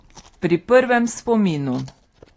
Pri prvem spominu.